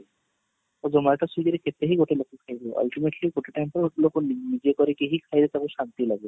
zomato swiggy ରେ କେତେ ହିଁ ଗୋଟେ ଲୋକ ଖାଇବ ultimately ଗୋଟେ time ରେ ଲୋକ ନିଜେ କରିକି ହିଁ ଖାଇଲେ ତାକୁ ଶାନ୍ତି ଲାଗେ